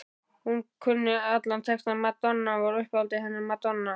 Hún kunni allan textann, Madonna var uppáhaldið hennar, Madonna